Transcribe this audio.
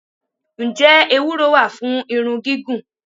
Ǹjẹ́ Ewúro wá fún irun gígùn?